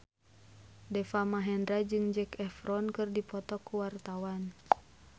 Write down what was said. Deva Mahendra jeung Zac Efron keur dipoto ku wartawan